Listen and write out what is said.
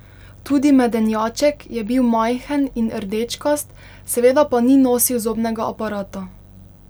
Tudi Medenjaček je bil majhen in rdečkast, seveda pa ni nosil zobnega aparata.